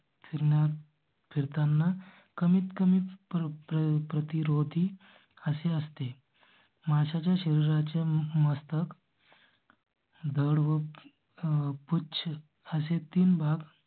फिरणार. फिरताना कमीतकमी प्रतिरोधी असे असते. माशा च्या शरीरा च्या मस्तक. धड मग आह पुच्छ असे तीन भाग